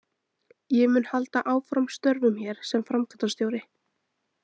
Ég mun halda áfram störfum hér sem framkvæmdastjóri